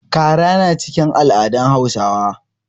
Kara na cikin al'adun Hausawa.